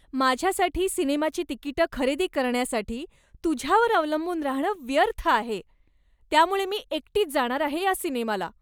माझ्यासाठी सिनेमाची तिकिटं खरेदी करण्यासाठी तुझ्यावर अवलंबून राहणं व्यर्थ आहे, त्यामुळे मी एकटीच जाणार आहे या सिनेमाला.